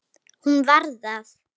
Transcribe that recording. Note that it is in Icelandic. Hún var það.